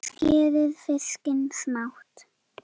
Skerið fiskinn smátt.